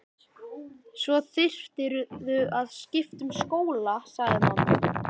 Svo þyrftirðu að skipta um skóla sagði mamma.